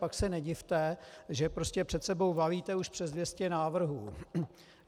Pak se nedivte, že prostě před sebou valíte už přes 200 návrhů.